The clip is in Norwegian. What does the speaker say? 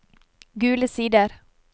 Gule Sider